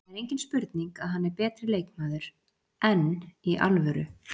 Það er engin spurning að hann er betri leikmaður, enn í alvöru?